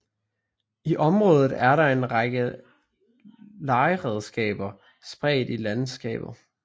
I området er der en række legeredskaber spredt i landskabet